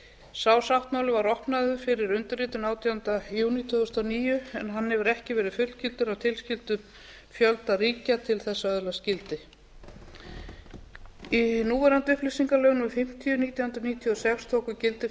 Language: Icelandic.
sá sáttmáli var opnaður fyrir undirritun átjánda júlí tvö þúsund og níu en hann hefur ekki verið fullgiltur af tilskildum fjölda ríkja til að öðlast gildi núverandi upplýsingalög númer fimmtíu nítján hundruð níutíu og sex tóku gildi